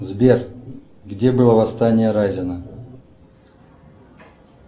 сбер где было восстание разина